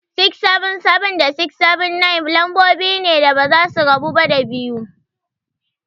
677 da 679, lambobi ne da basa rabuwa da 2.